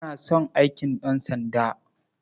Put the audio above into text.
Ina son aikin ɗansanda.